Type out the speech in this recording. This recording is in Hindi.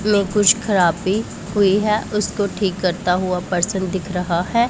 लो कुछ खराबी हुई है उसको ठीक करता हुआ पर्सन दिख रहा है।